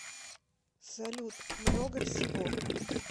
салют много всего